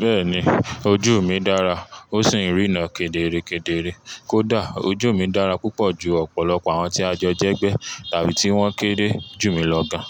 Bẹ́ẹ̀ni, ojú mi dára, ó sì ń rína kedere kedere. Kódà, ojú mi dára púpọ̀ ju ọ̀pọ̀lọpọ̀ àwọn tí a jọ jẹ́gbẹ́ tàbí tí wọ́n kéré jù mí lọ gan.